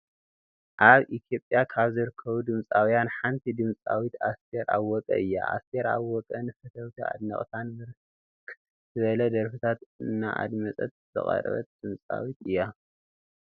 አብ ኢትየጵያ ካብ ዝርከቡ ድምፃውያን ሓንቲ ድምፂዊት አስተር አወቀ እያ ። አስተር አወቀ ንፈተውታን አድነቅታን ብርክት ዝበለ ደርፍታት ንአድመፅታ ዘቅረበት ድምፃዊት እያ።